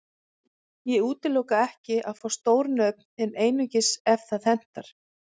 Ég útiloka ekki að fá stór nöfn en einungis ef það hentar.